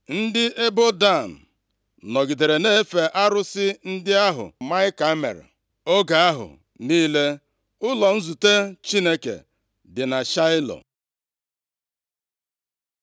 + 18:31 \+xt Dit 12:1-32; Jos 18:1,8; Nkp 18:18; 21:12\+xt* Ndị ebo Dan nọgidere na-efe arụsị ndị ahụ Maịka mere oge ahụ niile ụlọ nzute Chineke dị na Shaịlo.